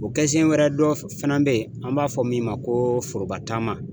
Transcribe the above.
O kɛ sen wɛrɛ dɔ fana be yen, an b'a fɔ min ma ko foroba taama.